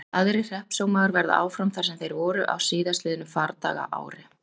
Aðrir hreppsómagar verða áfram þar sem þeir voru á síðastliðnu fardagaári.